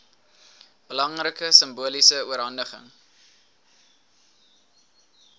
belangrike simboliese oorhandiging